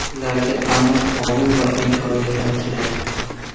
Ularga aniq qonun va imkoniyatlar kerak.